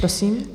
Prosím.